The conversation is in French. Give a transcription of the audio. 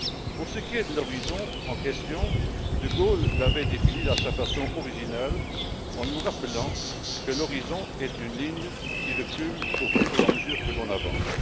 Pour ce qui est de l'horizon en question, De Gaulle l'avait défini de façon originale, en nous rappelant que l'horizon est une ligne qui recule au fur et à mesure que l'on avance.